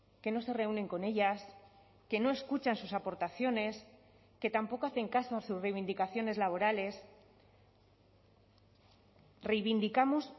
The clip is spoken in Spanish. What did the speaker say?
que no se reúnen con ellas que no escuchan sus aportaciones que tampoco hacen caso a sus reivindicaciones laborales reivindicamos